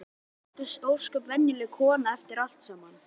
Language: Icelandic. Þetta var þá bara ósköp venjuleg kona eftir allt saman.